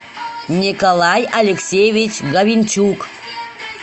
николай алексеевич гавенчук